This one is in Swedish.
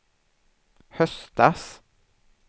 höstas